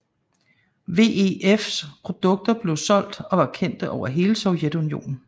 VEFs produkter blev solgt og var kendte over hele Sovjetunionen